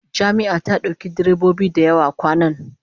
Jami'a ta dauki direbobi da yawa kwanan